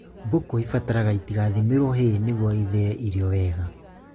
Mbũkũ ibataraga itigathimĩrwo hay nĩguo ithĩe irio wega